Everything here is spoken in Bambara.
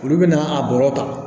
Olu bɛna a bɔrɔ ta